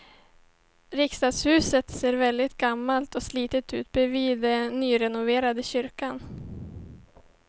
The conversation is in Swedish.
Riksdagshuset ser verkligen gammalt och slitet ut bredvid den nyrenoverade kyrkan.